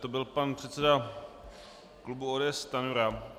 To byl pan předseda klubu ODS Stanjura.